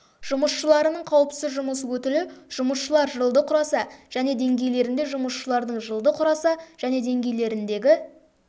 жұмысшыларының қауіпсіз жұмыс өтілі жұмысшылар жылды құраса және деңгейлерінде жұмысшылардың жылды құраса және деңгейлеріндегі